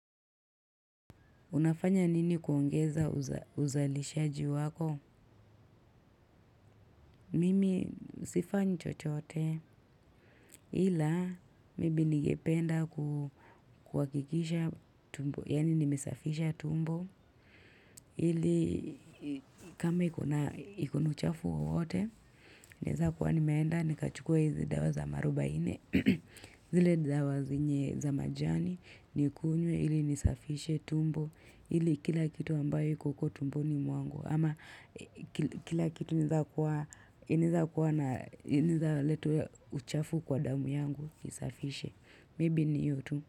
Unafanya nini kuongeza uzalishaji wako? Mimi sifanyi chochote. Ila, maybe ningependa kuhakikisha tumbo. Yani nimesafisha tumbo. Ili, kama iko na uchafu wowote, naeza kuwa nimeenda, nikachukua hizi dawa za marubaine. Zile dawa zenye za majani, nikunywe ili nisafishe tumbo. Ili kila kitu ambayo iko huko tumboni mwangu. Ama kila kitu inaeza kuwa inaeza leta uchafu kwa damu yangu kisafishe. Maybe ni hiyo tu.